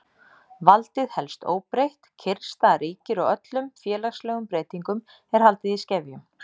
Valdið helst óbreytt, kyrrstaða ríkir og öllum félagslegum breytingum er haldið í skefjum.